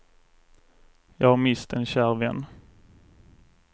Jag har mist en kär vän.